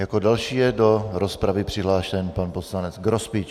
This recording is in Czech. Jako další je do rozpravy přihlášen pan poslanec Grospič.